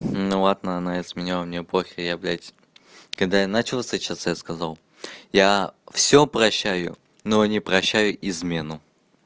ну ладно она изменила мне пофиг я блядь когда я начал встречаться я сказал я всё прощаю но не прощаю измену